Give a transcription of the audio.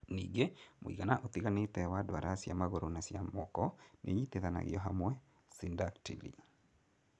Ningĩ, mũigana ũtiganĩte wa ndwara cia magũrũ na cia moko nĩinyitithanagio hamwe (syndactyly).